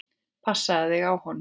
Passaðu þig á honum.